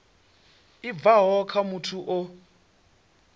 i bvaho kha muthu o